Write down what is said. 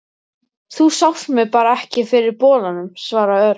Þú sást mig bara ekki fyrir bolanum, svaraði Örn.